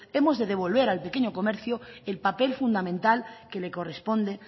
hemos de devolver al pequeño comercio el papel fundamental que le corresponde